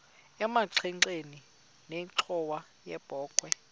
emagxeni nenxhowa yebokhwe